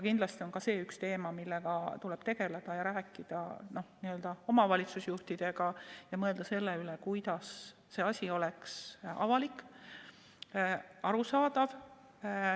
Kindlasti on see üks teema, millega tuleb tegeleda ja millest rääkida omavalitsusjuhtidega ja mõelda selle üle, kuidas see asi oleks avalik, arusaadav.